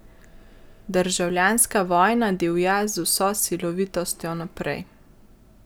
Državljanska vojna divja z vso silovitostjo naprej.